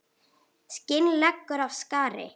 Skin leggur af skari.